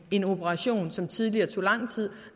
en operation som tidligere tog lang tid